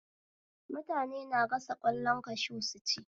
Mutane na gasa ƙwallon kashu su ci